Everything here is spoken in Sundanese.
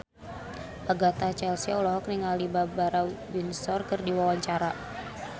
Agatha Chelsea olohok ningali Barbara Windsor keur diwawancara